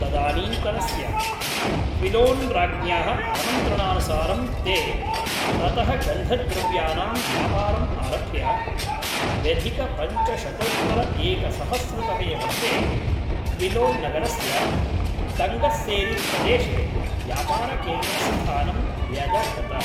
तदानीन्तनस्य क्विलोन् राज्ञ्याः आमन्त्रणानुसारं ते ततः गन्धद्रव्यानां व्यापारम् आरभ्य द्व्यधिकपञ्चशतोत्तरएकसहस्रतमे वर्षे क्विलोन् नगरस्य तङ्गस्सेरीप्रदेशे व्यापारकेन्द्रस्थानं व्यदधत।